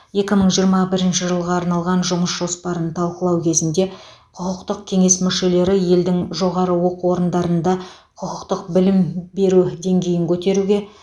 екі мың жиырма бірінші жылға арналған жұмыс жоспарын талқылау кезінде құқықтық кеңес мүшелері елдің жоғары оқу орындарында құқықтық білім беру деңгейін көтеруге